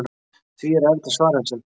Því er erfitt að svara þessari spurningu.